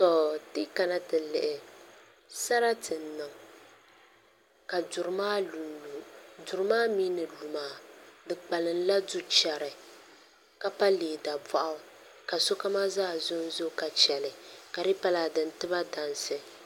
Ti yi kana ti lihi sarati n niŋ ka duri maa lunlu duri maa mii ni lu maa di kpalimla du chɛri ka pa lee daboɣu ka sokam zaa zonzo ka chɛli ka di yi pa laa di ni tiba dansi